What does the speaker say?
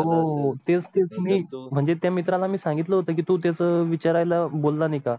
हो तेच तुम्ही म्हणजे त्या मित्रा ला मी सांगितलं होतं की तू तेच विचाराय ला बोल ला नाही का?